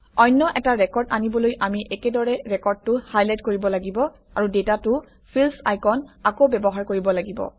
অন্য এটা ৰেকৰ্ড আনিবলৈ আমি একেদৰে ৰেকৰ্ডটো হাইলাইট কৰিব লাগিব আৰু ডাটা টু ফিল্ডচ আইকন আকৌ ব্যৱহাৰ কৰিব লাগিব